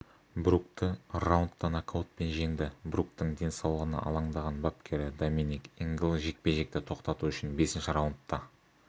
брукті раундта нокаутпен жеңді бруктің денсаулығына алаңдаған бапкері доминик ингл жекпе-жекті тоқтату үшін бесінші раундта